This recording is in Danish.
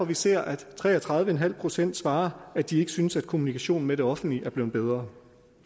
vi ser at tre og tredive en halv procent svarer at de ikke synes at kommunikationen med det offentlige er blevet bedre